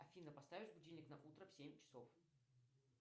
афина поставишь будильник на утро в семь часов